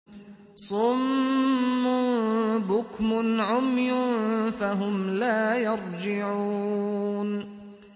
صُمٌّ بُكْمٌ عُمْيٌ فَهُمْ لَا يَرْجِعُونَ